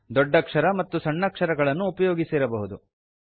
ದೊಡ್ಡಕ್ಷರ ಮತ್ತು ಸಣ್ಣಕ್ಷರಗಳನ್ನು ಉಪಯೋಗಿಸಿರಬಹುದು